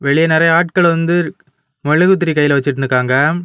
வெளிய நெறைய ஆட்கள் வந்து மெழுகுத்திரி கைல வச்சிட்டு நிக்காங்க.